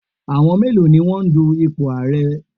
Àwọn mélòó ni wọ́n dun ipò ààrẹ tọ̀?